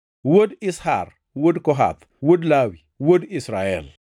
wuod Izhar, wuod Kohath, wuod Lawi, wuod Israel;